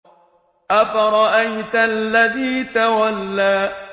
أَفَرَأَيْتَ الَّذِي تَوَلَّىٰ